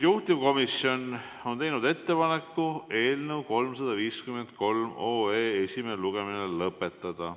Juhtivkomisjon on teinud ettepaneku eelnõu 353 esimene lugemine lõpetada.